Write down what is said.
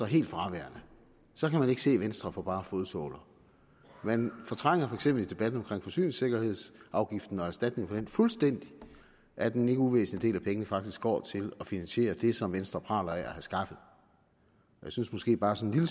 helt fraværende så kan man ikke se venstre for bar fodsåler man fortrænger for eksempel i debatten om forsyningssikkerhedsafgiften og erstatning for den fuldstændigt at en ikke uvæsentlig del af pengene faktisk går til at finansiere det som venstre praler af at have skaffet jeg synes måske bare sådan